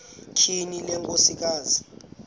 tyhini le nkosikazi